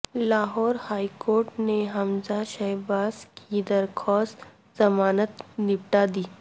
Lahore high court نے حمزہ شہباز کی درخواست ضمانت نمٹا دی